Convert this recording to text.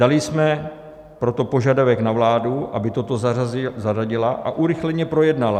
Dali jsme proto požadavek na vládu, aby toto zařadila a urychleně projednala.